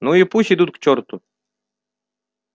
ну и пусть идут к чёрту